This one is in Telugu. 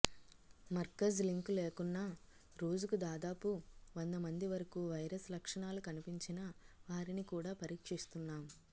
మర్కజ్ లింకు లేకున్నా రోజుకు దాదాపు వంద మంది వరకు వైరస్ లక్షణాలు కనిపించిన వారిని కూడా పరీక్షిస్తున్నాం